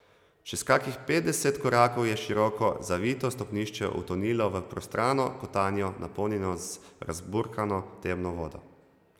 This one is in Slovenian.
Čez kakih petdeset korakov je široko, zavito stopnišče utonilo v prostrano kotanjo, napolnjeno z razburkano temno vodo.